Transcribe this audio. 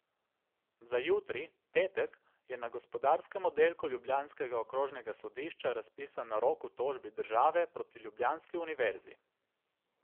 Za jutri, petek, je na gospodarskem oddelku ljubljanskega okrožnega sodišča razpisan narok v tožbi države proti ljubljanski univerzi.